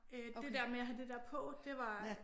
Øh det der med at have det der på det var